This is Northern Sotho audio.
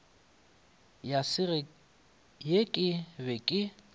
ya ge ke be ke